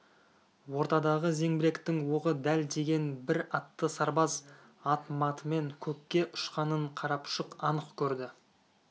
ортадағы зеңбіректің оғы дәл тиген бір атты сарбаз ат-матымен көкке ұшқанын қарапұшық анық көрді